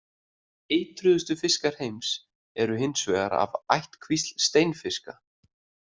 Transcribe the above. Eitruðustu fiskar heims eru hins vegar af ættkvísl steinfiska.